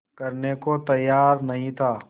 करने को तैयार नहीं था